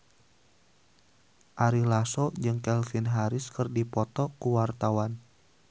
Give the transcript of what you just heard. Ari Lasso jeung Calvin Harris keur dipoto ku wartawan